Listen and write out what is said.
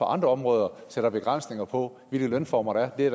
andre områder sætter begrænsninger på hvilke lønformer der er det